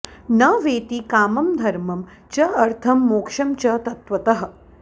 न वेत्ति कामं धर्मं च अर्थं मोक्षं च तत्त्वतः